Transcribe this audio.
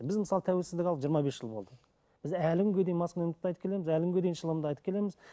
біз мысалы тәуелсіздік алдық жиырма бес жыл болды біз әлі күнге дейін маскүнемдікті айтып келеміз әлі күнге дейін шылымды айтып келеміз